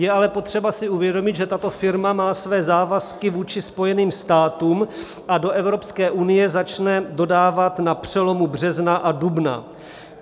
Je ale potřeba si uvědomit, že tato firma má své závazky vůči Spojeným státům a do Evropské unie začne dodávat na přelomu března a dubna.